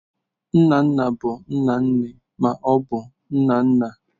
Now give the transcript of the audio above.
Nna nna bụ nna nne ma ọ bụ nna nna.